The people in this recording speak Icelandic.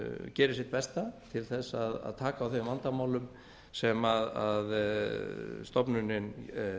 gerir sitt besta til að taka á þeim vandamálum sem stofnunin